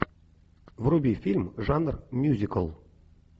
вруби фильм жанр мюзикл